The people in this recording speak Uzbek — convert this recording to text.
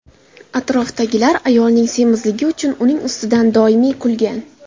Atrofdagilar ayolning semizligi uchun uning ustidan doimiy kulgan.